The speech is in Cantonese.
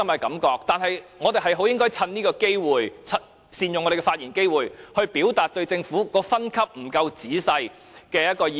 然而，我們應該善用發言機會，表達對政府的分級有欠仔細的意見。